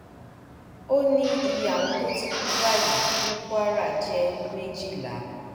ó ní iye àwọn tó ti kú báyìí ní kwara jẹ méjìlá